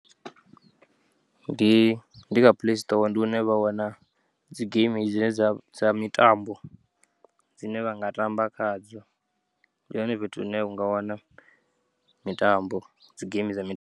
Ndi, ndi kha playstore ndi hune vha wana dzi geimi dzine dzavha dza mitambo dzine vha nga tamba khadzo, ndi hone fhethu hune vhanga wana mitambo, dzigeimi dza mi.